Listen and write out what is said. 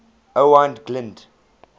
owain glynd